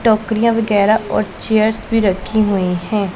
टोकरियां वगैरा और चेयर्स भी रखी हुई हैं।